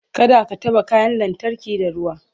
kada ka taɓa kayan lantarki da ruwa